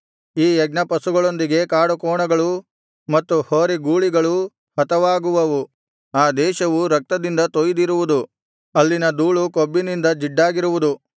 ಈ ಯಜ್ಞಪಶುಗಳೊಂದಿಗೆ ಕಾಡುಕೋಣಗಳೂ ಮತ್ತು ಹೋರಿಗೂಳಿಗಳೂ ಹತವಾಗುವವು ಆ ದೇಶವು ರಕ್ತದಿಂದ ತೊಯಿದಿರುವುದು ಅಲ್ಲಿನ ಧೂಳು ಕೊಬ್ಬಿನಿಂದ ಜಿಡ್ಡಾಗಿರುವುದು